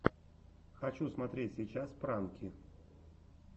хочу смотреть сейчас пранки